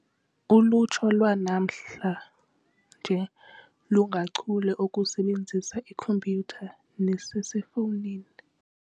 Ulutsha lwanamhlanje lungachule okusebenzisa ikhompyutha neeselfowuni.